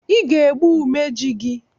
I ga-egbu umeji gị!